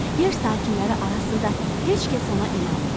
Yer sakinləri arasında heç kəs ona inanmırdı.